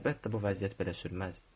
Əlbəttə bu vəziyyət belə sürməz.